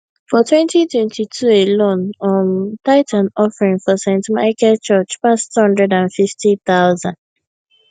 for twenty twenty two alone um tithe and offering for st michael church pass twenty five thousand